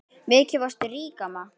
Mikið varstu rík amma.